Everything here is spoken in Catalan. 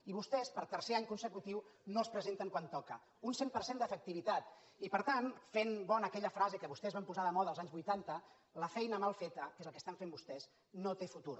i vostès per tercer any consecutiu no els presenten quan toca un cent per cent d’efectivitat i per tant fent bona aquella frase que vostès van posar de moda els anys vuitanta mal feta que és el que estan fent vostès no té futur